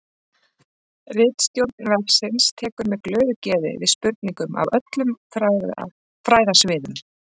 Ritstjórn vefsins tekur með glöðu geði við spurningum af öllum fræðasviðum.